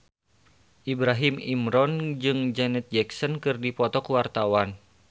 Ibrahim Imran jeung Janet Jackson keur dipoto ku wartawan